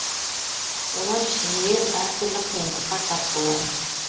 олар жиі әртүрлі қиындыққа тап болады